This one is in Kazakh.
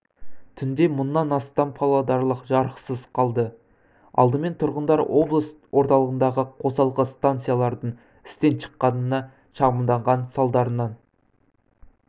түнде мыңнан астам павлодарлық жарықсыз қалды алдымен тұрғындар облыс орталығындағы қосалқы станциялардың істен шыққанына шағымданған салдарынан